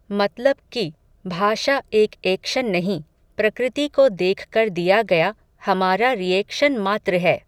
मतलब कि, भाषा एक एक्शन नहीं, प्रकृति को देखकर दिया गया, हमारा रिएक्शन मात्र है